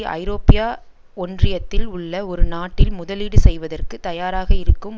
ஐரோப்பியா ஒன்றியத்தில் உள்ள ஒரு நாட்டில் முதலீடு செய்வதற்கு தயாராக இருக்கும்